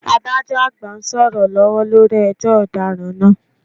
Adájọ́ àgbà ń sọ̀rọ̀ lọ́wọ́ lórí ẹjọ́ ọ̀daràn náà